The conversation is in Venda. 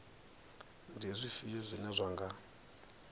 ndi zwifhio zwine zwa nga